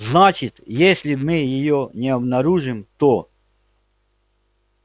значит если мы её не обнаружим то